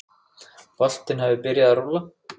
Boltinn hafi byrjað að rúlla.